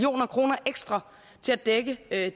del af